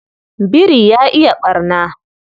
Biri ya iya ɓarna.